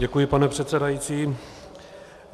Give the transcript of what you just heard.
Děkuji, pane předsedající.